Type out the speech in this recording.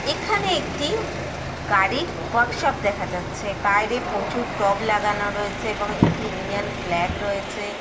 সামনে দুটি চেয়ার দেখা যাচ্ছে।